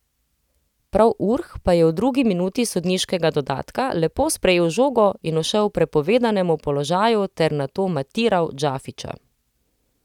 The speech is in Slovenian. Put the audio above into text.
Prav Urh pa je v drugi minuti sodniškega dodatka lepo sprejel žogo in ušel prepovedanemu položaju ter nato matiral Džafića.